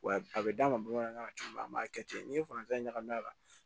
Wa a bɛ d'a ma bamanankan na cogo min na an b'a kɛ ten n'i ye faransɛ ɲa ɲagami a la